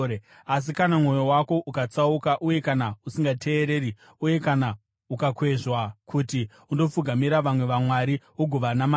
Asi kana mwoyo wako ukatsauka uye kana usingateereri, uye kana ukakwezvwa kuti undopfugamira vamwe vamwari ugovanamata,